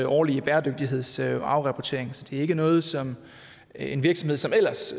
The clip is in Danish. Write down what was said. årlige bæredygtighedsafrapportering så det er ikke noget som en virksomhed som ellers